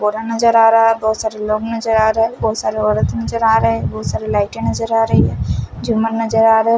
पूरा नज़र आरा है बोहोत सारे लोग नज़र आरे है बोहोत सारे औरत नजर आरे है बोहोत सारी लाइटे नज़र आरी है झूमर नज़र आ रहे हैं--